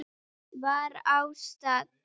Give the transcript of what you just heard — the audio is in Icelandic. var á stall.